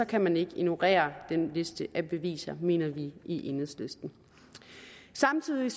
kan man ikke ignorere den liste af beviser mener vi i enhedslisten samtidig er